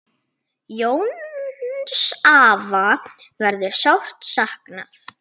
Jóns afa verður sárt saknað.